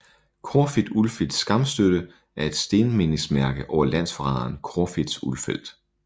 Corfitz Ulfeldts skamstøtte er et stenmindesmærke over landsforræderen Corfitz Ulfeldt